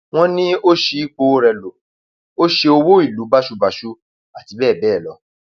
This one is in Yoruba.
wọn ní ó ṣí ipò rẹ lọ ó ṣe owó ìlú báṣubàṣu àti bẹẹ bẹẹ lọ